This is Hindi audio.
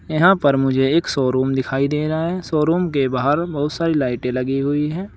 यहां पर मुझे एक शोरूम दिखाई दे रहा है। शोरूम के बाहर बोहुत सारी लाइटे लगी हुई है।